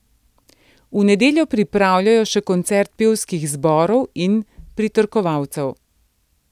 V nedeljo pripravljajo še koncert pevskih zborov in pritrkovalcev.